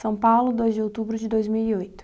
São Paulo, dois de outubro de dois mil e oito.